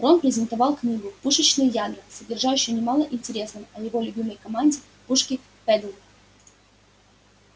рон презентовал книгу пушечные ядра содержащую немало интересного о его любимой команде пушки педдл